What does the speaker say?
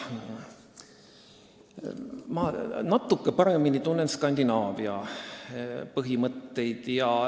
Ma tunnen natukene paremini Skandinaavia põhimõtteid.